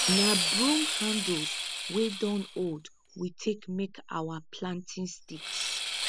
na broom handles wey don old we take make our planting sticks